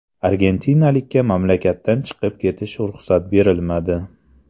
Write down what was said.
Argentinalikka mamlakatdan chiqib ketishga ruxsat berilmadi.